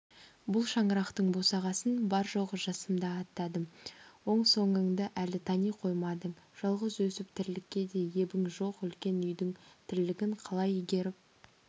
бұл шаңырақтың босағасын бар-жоғы жасымда аттадым оң-соңыңды әлі тани қоймадың жалғыз өсіп тірлікке де ебің жоқ үлкен үйдің тірлігін қалай игеріп